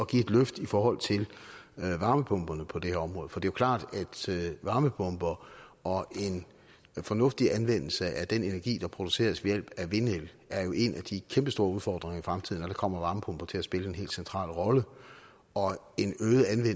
give et løft i forhold til varmepumperne på det her område for det er klart at varmepumper og en fornuftig anvendelse af den energi der produceres ved hjælp af vind er jo en af de kæmpestore udfordringer i fremtiden og der kommer varmepumper til at spille en helt central rolle og